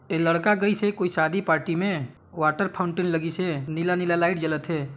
ऐ लड़का गइस से कोई शादी पार्टी में वाटर फॉउन्टेन लगिस हे नीला नीला लाइट जलत हे।